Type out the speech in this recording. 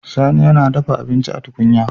Sani yAna dafa abincin a tukunya